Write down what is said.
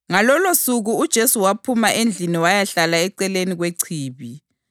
Ngalolosuku uJesu waphuma endlini wayahlala eceleni kwechibi.